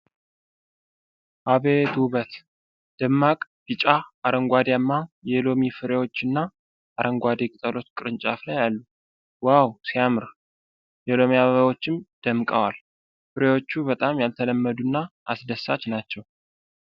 አቤት ውበት ! ደማቅ ቢጫ፣ አረንጓዳማ የሎሚ ፍሬዎችና አረንጓዴ ቅጠሎች ቅርንጫፍ ላይ አሉ ። ዋው ሲያምር! የሎሚ አበባዎችም ደምቀዋል። ፍሬዎቹ በጣም ያልተለመዱና አስደሳች ናቸው።